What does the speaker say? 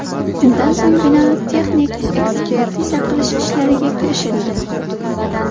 Shundan so‘ng bino texnik ekspertiza qilish ishlariga kirishildi.